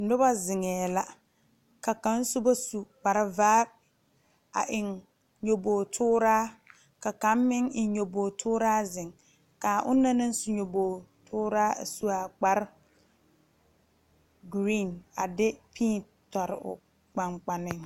Noba zeŋe la ka kaŋ soba su kpare vaa a eŋ nyoboɔ tuura ka kaŋ meŋ eŋ nyoboɔ tuura zeŋ kaa ona naŋ su a nyoboɔ tuura a suɛ kpare geri a de pii tu o kpaŋkpane.